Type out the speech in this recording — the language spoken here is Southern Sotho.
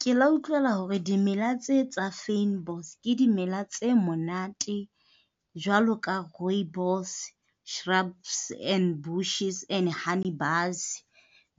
Ke le utlwela hore dimela tse tsa fynbos ke dimela tse monate, jwalo ka rooibos, shrubs and bushes and Honey Bus,